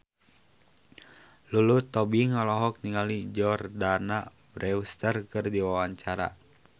Lulu Tobing olohok ningali Jordana Brewster keur diwawancara